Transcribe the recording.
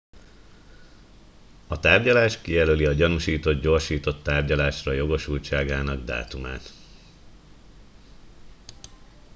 a tárgyalás kijelöli a gyanúsított gyorsított tárgyalásra jogosultságának dátumát